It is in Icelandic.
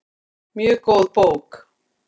Mjög góð bók.